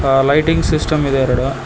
ಆ lighting system ಇದೆ ಎರಡು.